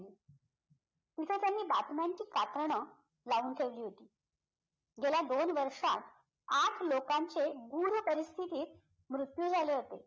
तिथे त्यांनी बातम्यांची कात्रणं लावून ठेवली होती गेल्या दोन वर्षात आठ लोकांचे परिस्थितीत मृत्यू झाले होते